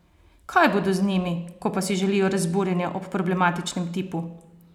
Kaj bodo z njimi, ko pa si želijo razburjenje ob problematičnem tipu?